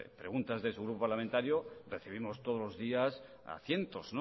preguntas de su grupo parlamentario recibimos todos los días a cientos